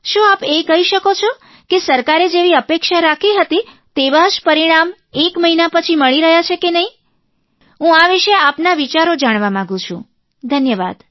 શું આપ એ કહી શકો છો કે સરકારે જેવી અપેક્ષા રાખી હતી તેવાં જ પરિણામ એક મહિના પછી મળી રહ્યાં છે કે નહીં હું આ વિષે આપના વિચારો જાણવા માંગું છું ધન્યવાદ